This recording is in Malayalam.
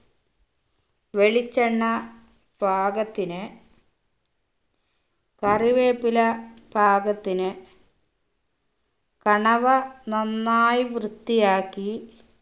വെളിച്ചെണ്ണ പാകത്തിന് കറിവേപ്പില പാകത്തിന് കണവ നന്നായി വൃത്തിയാക്കി